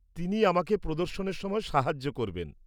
তিনি আমাকে প্রদর্শনের সময় সাহায্য করবেন।